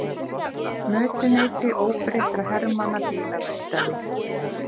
Mötuneyti óbreyttra hermanna bílaverkstæði.